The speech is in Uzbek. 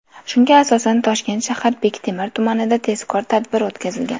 Shunga asosan Toshkent shahar Bektemir tumanida tezkor tadbir o‘tkazilgan.